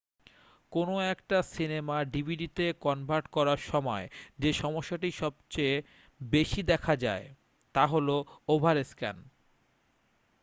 কোনও একটা সিনেমা ডিভিডিতে কনভার্ট করার সময় যে সমস্যাটি সবথেকে বেশি দেখা যায় তা হল ওভারস্ক্যান